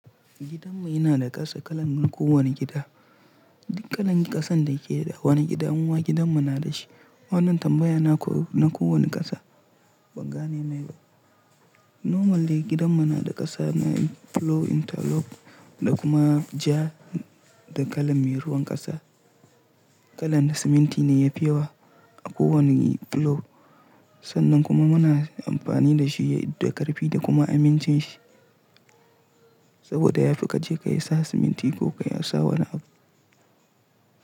Gidanmu yana da ƙasa kalan man kowane gida. Dukanin ƙasan da yake da wani gida muma gidan mu na da shi. Wannan tambaya na ko na kowane ƙasa. Banga ne na yau. Normally gidanmu na da ƙasa na plowing interlock da kuma ja da kalan me ruwan ƙasa. Kalan siminti ne yafi yawa a kowane plowing. Sannan kuma muna amfani da shi da ƙarfi da kuma aminci shi. Saboda ya fi ka je ka yi sa siminti ko ka yi sa wani abu.